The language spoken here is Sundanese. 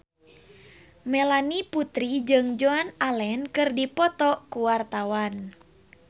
Melanie Putri jeung Joan Allen keur dipoto ku wartawan